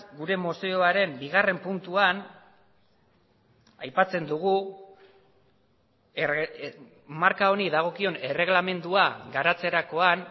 gure mozioaren bigarren puntuan aipatzen dugu marka honi dagokion erreglamendua garatzerakoan